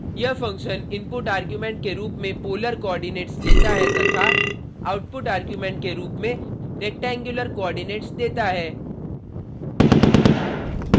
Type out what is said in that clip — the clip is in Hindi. यह फंक्शन इनपुट आर्ग्युमेंट के रूप में पोलर कोऑर्डिनेट्स लेता है तथा आउटपुट आर्ग्युमेंट के रूप में रेक्टेंगुलर कोऑर्डिनेट्स देता है